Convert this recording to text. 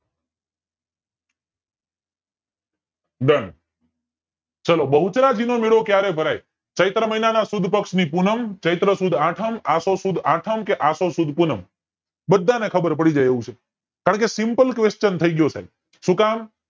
DONE ચાલો બહુચરાજી નો મેળો ક્યારે ભરાય ચૈત્ર મહિના ની સુદ પક્ષ ની પૂનમ ચૈત્ર સુદ આઠમ આસો સુદ આઠમ કે આસો સુદ પૂનમ બધાને ખબર પડીજાય એવું છે કારણકે SIMPLE QUSTION થય ગયો છે સુ કામ